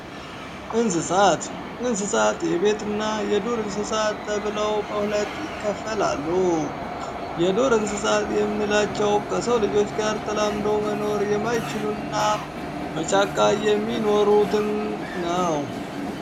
እንስሳት እንስሳት የቤትና የዱር እንስሳት ተብለው በሁለት ይከፈላሉ የዱር እንስሳት የምንላቸው ከሰው ልጆች ጋር ተላምደው መኖር የማይችሉ በጫቃ የሚኖሩትን ነው።